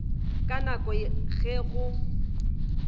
ka nako ya ge go